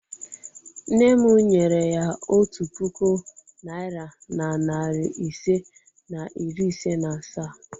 Nne m nyere ya otu puku naira na narị ise na iri ise na asaa.